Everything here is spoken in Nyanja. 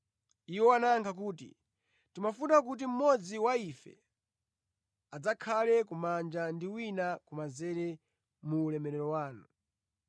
Iwo anayankha kuti, “Timafuna kuti mmodzi wa ife adzakhale kumanja ndi wina kumanzere mu ulemerero wanu.”